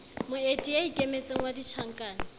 moeti ya ikemetseng wa ditjhankane